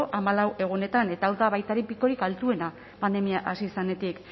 hamalau egunetan eta hau da baita ere pikorik altuena pandemia hasi zenetik